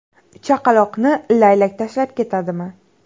Chaqaloqni laylak tashlab ketdimi?